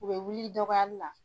U bɛ wuli i dɔgɔyali la.